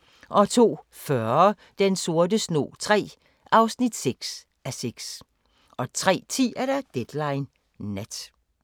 02:40: Den sorte snog III (6:6) 03:10: Deadline Nat